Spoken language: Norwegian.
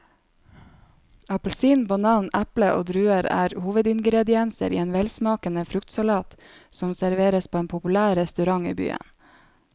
Appelsin, banan, eple og druer er hovedingredienser i en velsmakende fruktsalat som serveres på en populær restaurant i byen.